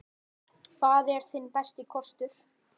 Það er þinn besti kostur.